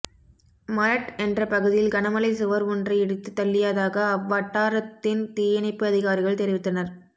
மலட் என்ற பகுதியில் கனமழை சுவர் ஒன்றை இடித்துத் தள்ளியதாக அவ்வட்டாரத்தின் தீயணைப்பு அதிகாரிகள் தெரிவித்தனர்